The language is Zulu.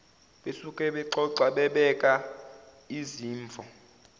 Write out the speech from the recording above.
besuke bexoxa bebekaizimvo